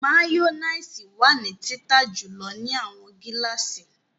Mayonnaise wa ni tita julọ ni awọn gilasi